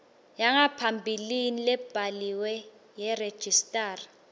yangaphambilini lebhaliwe yeregistrar